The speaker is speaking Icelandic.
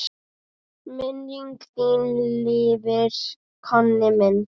Minning þín lifir, Konni minn.